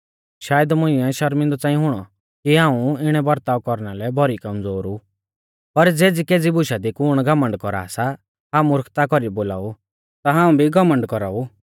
शायद मुइंऐ शर्मिंदौ च़ांई हुणौ कि हाऊं इणै बरताव कौरना लै भौरी कमज़ोर ऊ पर ज़ेज़ीकेज़ी बुशा दी कुण घमण्ड कौरा सा हाऊं मुर्खता कौरी बोलाऊ ता हाऊं भी घमण्ड कौराऊ